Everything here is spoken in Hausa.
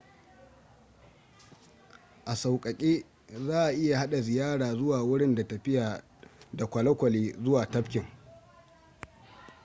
a saukake za a iya hade ziyara zuwa wurin da tafiya da kwalwkwale zuwa tafkin